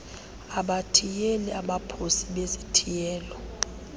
abathiyeli abaphosi bezithiyelo